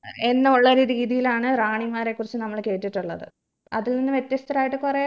എന്നുള്ളൊരു രീതിയിലാണ് റാണിമാരെ കുറിച്ച് നമ്മള് കേട്ടിട്ടുള്ളത് അതിന്ന് വ്യത്യസ്തരായിട്ട് കുറെ